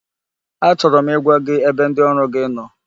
Achọrọ m ịgwa gị ebe ndị ọrụ gi nọ,